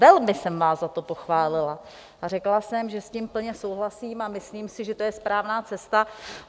Velmi jsem vás za to pochválila a řekla jsem, že s tím plně souhlasím a myslím si, že to je správná cesta.